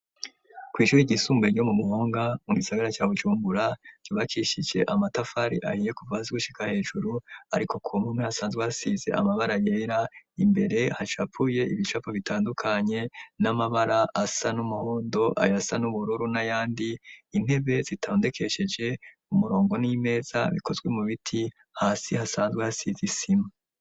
Kw'ishurke igisumbe ryo mu muhonga mu gisagara ca bucumbura ryubakishije amatafari ahiye kuvazigushika hejuru, ariko kuw mume hasanzwe hasize amabara yera imbere hacapuye ibicapu bitandukanye n'amabara asa n'umuhondo ayo asa n'ubururu na yandi intebe zitandekesheje mu murongo n'ie meza bikozwe mu biti hasi hasanzwe hasize isima.